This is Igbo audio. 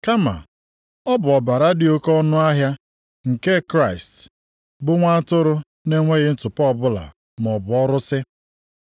kama ọ bụ ọbara dị oke ọnụahịa nke Kraịst bụ nwa atụrụ na-enweghị ntụpọ ọbụla maọbụ ọrụsị.